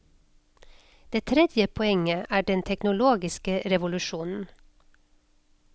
Det tredje poenget er den teknologiske revolusjonen.